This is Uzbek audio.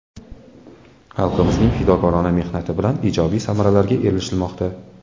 Xalqimizning fidokorona mehnati bilan ijobiy samaralarga erishilmoqda.